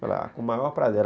Falei, ah, com o maior prazer.